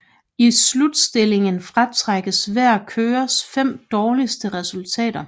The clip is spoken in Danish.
I Slutstillingen fratrækkes hver kørers fem dårligste resultater